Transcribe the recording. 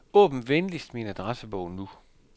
Åbn venligst min adressebog nu.